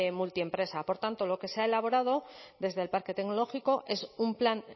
multiempresa por tanto lo que se ha elaborado desde el parque tecnológico es un plan